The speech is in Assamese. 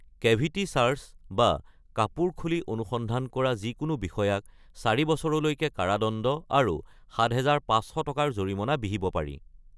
কে'ভিটি চাৰ্চ বা কাপোৰ খুলি অনুসন্ধান কৰা যিকোনো বিষয়াক ৪ বছৰলৈকে কাৰাদণ্ড আৰু ৭৫০০ টকাৰ জৰিমনা বিহিব পাৰি।